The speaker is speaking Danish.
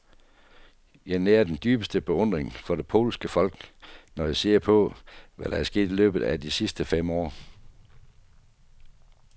Jeg nærer den dybeste beundring for det polske folk, når jeg ser på, hvad der er sket i løbet af de sidste fem år.